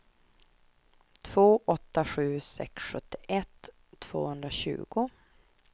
två åtta sju sex sjuttioett tvåhundratjugo